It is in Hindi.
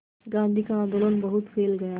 गांधी का आंदोलन बहुत फैल गया